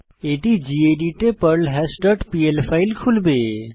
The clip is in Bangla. এটি গেদিত এ পার্লহাশ ডট পিএল ফাইল খুলবে